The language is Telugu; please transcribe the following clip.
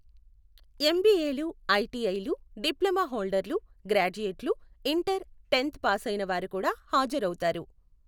ఎంబీఏలు, ఐటిఐలు, డిప్లొమా హోల్డర్లు, గ్రాడ్యుయేట్లు, ఇంటర్, టెన్త్ పాసైన వారు కూడా హాజరవుతారు.